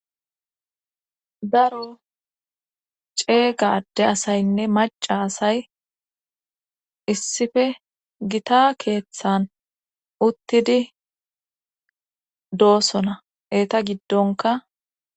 Daro ceegade asaynne maca asay issife gita keeththan uttidi doosona eta giddonka.